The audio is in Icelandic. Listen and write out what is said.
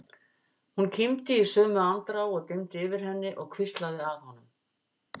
Hún kímdi í sömu andrá og dimmdi yfir henni og hvíslaði að honum